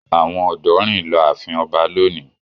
Àwọn ọ̀dọ́ rìn lọ ààfin ọba lónìí?